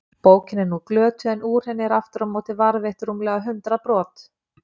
Bókin er nú glötuð en úr henni eru aftur á móti varðveitt rúmlega hundrað brot.